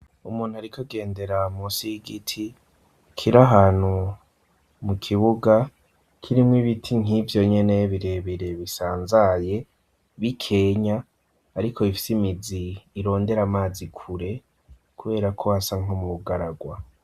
Umuntu arikagendera musi y'igiti kiri ahantu mu kibuga kirimwe ibiti nk'ivyo nyeneye birebere bisanzaye b'ikenya ariko ifise imizi irondera amazi ikure kubera ko hasa nko mu garagwa..